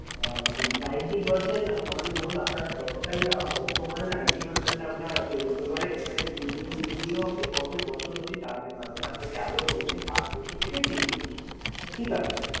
আহ মানে ninety percent আহ মানে ধরুন আপনার যতটাই দাম হোক তো ওখানে ninety percent আমরা দেবো তো এবারে এখানে minimum আপনি কত বছর অবধি চালাতে পারবেন আপনাকে আগেও বললাম যে পাঁচ বছর থেকে ত্রিশ বছর ঠিক আছে।